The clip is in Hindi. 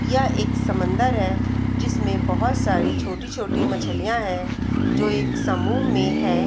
यह एक समन्दर है जिसमें बहोत सारी छोटी-छोटी मछलियाँ है जो एक समूह है।